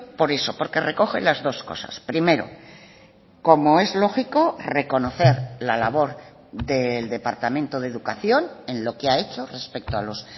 por eso porque recoge las dos cosas primero como es lógico reconocer la labor del departamento de educación en lo que ha hecho respecto a los